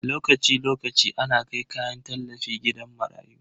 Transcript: Lokaci lokaci ana kai kayan tallafi gidajen marayu.